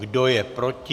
Kdo je proti?